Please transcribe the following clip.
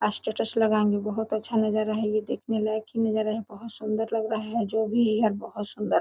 आस्टेटस लगाएंगे बहुत अच्छा नज़ारा हैये देखने लायक ही नजारा है बहुत सुन्दर लग रहा है जो भी हैबोहोत सुन्दर है।